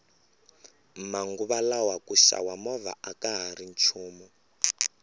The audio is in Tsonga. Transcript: manguva lawa ku xava movha akahari nchumu